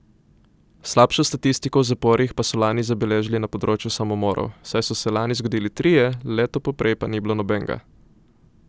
Slabšo statistiko v zaporih pa so lani zabeležili na področju samomorov, saj so se lani zgodili trije, leto poprej pa ni bilo nobenega.